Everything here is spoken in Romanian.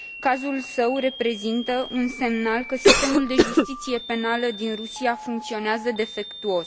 Cazul său reprezintă un semnal că sistemul de justiție penală din Rusia funcționează defectuos.